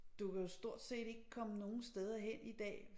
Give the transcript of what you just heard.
Du kan jo stort set ikke komme nogen steder hen i dag